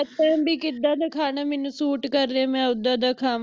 ਬਈ ਕਿਦਾ ਦਾ ਖਾਣਾ ਮੈਨੂੰ suit ਕਰ ਰਿਹਾ ਮੈਂ ਓਦਾਂ ਦਾ ਖਾਵਾਂ